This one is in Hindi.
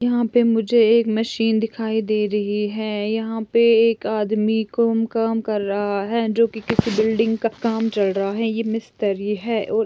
यहाँ पे मुझे एक मशीन दिखाई दे रही है यहाँ पे एक आदमी को--काम कर रहा है जो कि किसी बिल्डिंग का काम चल रहा है ये मिस्तरी है